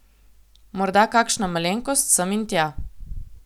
Morda kakšna malenkost sem in tja.